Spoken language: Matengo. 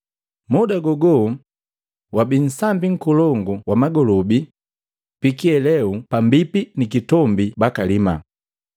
Muda gogo wabii nsambi nkolongu wa magolobi pikiheleu pambipi ni kitombi bakalimaa.